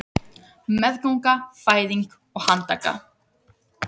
Meðganga, fæðing og handtaka